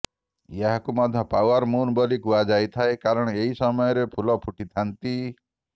ଏହାକୁ ମଧ୍ୟ flower moon ବୋଲି କୁହାଯାଇଥାଏ କାରଣ ଏହି ସମୟରେ ଫୁଲ ଫୁଟିଥାନ୍ତି